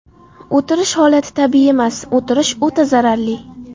O‘tirish holati tabiiy emas, o‘tirish o‘ta zararli.